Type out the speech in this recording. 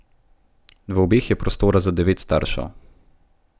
V obeh je prostora za devet staršev.